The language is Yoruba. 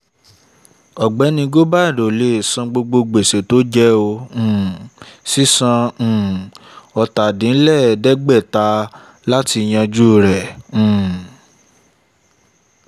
ọ̀gbẹ́ni gobind ò lè san gbogbo gbèsè tó jẹ ó um sì san um ọ̀tàdínlẹ̀ẹ́dẹ́gbẹ̀ta láti yanjú rẹ̀ um